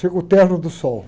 Chegou o terno do Sol.